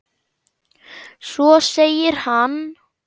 Svo segir hann.